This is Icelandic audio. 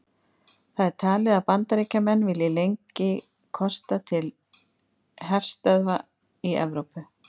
Hvað er talið að Bandaríkjamenn vilji lengi kosta til herstöðva í Evrópu?